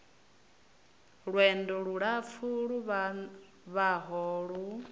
lwendo lulapfu lu vhavhaho lu